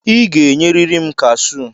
I ga-enyeriri m kashụ!